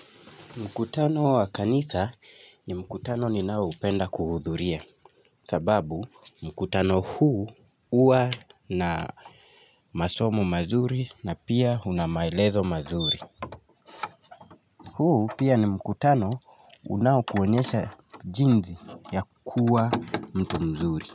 Mkutano wa kanisa ni mkutano ninaoupenda kuhudhuria sababu mkutano huu huwa na masomo mazuri na pia una maelezo mazuri huu pia ni mkutano unaokuonyesha jinsi ya kuwa mtu mzuri.